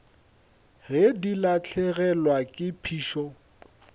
ge di lahlegelwa ke phišo